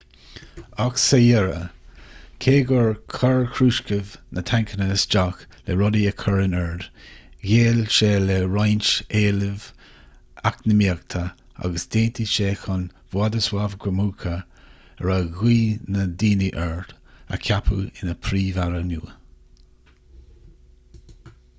ach sa deireadh cé gur chuir krushchev na tancanna isteach le rudaí a chur in ord ghéill sé le roinnt éilimh eacnamaíocha agus d'aontaigh sé chun wladyslaw gomulka a raibh gnaoi na ndaoine air a cheapadh ina phríomh-aire nua